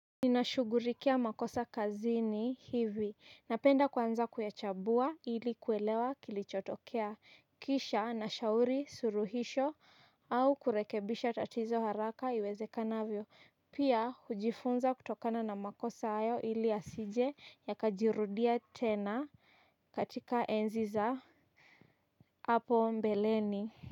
Ninashughulikia makosa kazini hivi napenda kwanza kuyachabua ili kuelewa kilichotokea kisha na shauri suluhisho au kurekebisha tatizo haraka iwezekanavyo. Pia hujifunza kutokana na makosa hayo ili yasije yakajirudia tena katika enzi za hapo mbeleni.